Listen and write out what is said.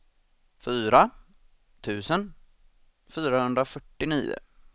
fyra tusen fyrahundrafyrtionio